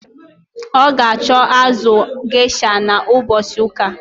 Ọ ga acho azụ gesha na mbosi uka